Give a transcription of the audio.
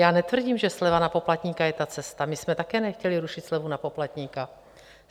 Já netvrdím, že sleva na poplatníka je ta cesta, my jsme také nechtěli rušit slevu na poplatníka.